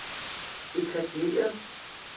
etableret